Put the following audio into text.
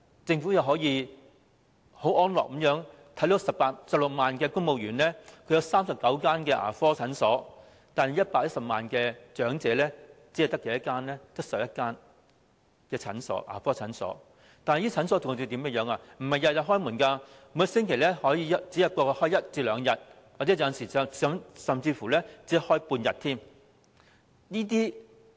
政府可以很安樂地為16萬名公務員提供39間牙科診所，但110萬名長者卻只獲11間牙科診所提供服務，而且這些診所並非每天應診，每星期可能只開一至兩天，甚至只開半天。